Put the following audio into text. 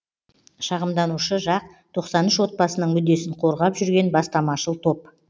шағымданушы жақ тоқсан үш отбасының мүддесін қорғап жүрген бастамашыл топ